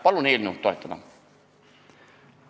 Palun eelnõu toetada!